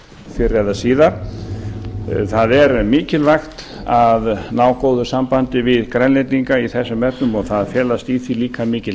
fyrr eða síðar það er mikilvægt að ná góðu sambandi við grænlendinga í þessum efnum og það felast í því líka mikil